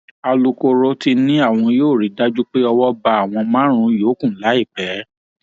alūkkóró ti ní àwọn yóò rí i dájú pé owó bá àwọn márùnún yòókù láìpẹ